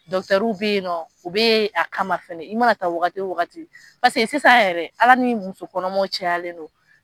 bɛ yen nɔ, u bɛ yen a kama fɛnɛ, i mana taa wagati o wagati paseke sisan yɛrɛ Ala ni musokɔnɔmaw cayalen don.